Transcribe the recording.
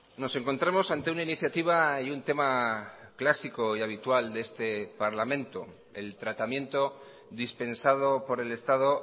nos encontramos ante una iniciativa y un tema clásico y habitual de este parlamento el tratamiento dispensado por el estado